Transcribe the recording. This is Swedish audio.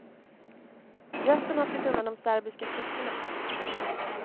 Resten har flytt undan de serbiska trupperna.